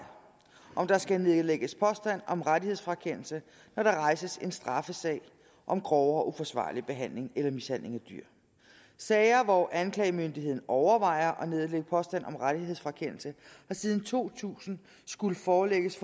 om der skal nedlægges påstand om rettighedsfrakendelse når der rejses en straffesag om grovere uforsvarlig behandling eller mishandling af dyr sager hvor anklagemyndigheden overvejer at nedlægge påstand om rettighedsfrakendelse har siden to tusind skullet forelægges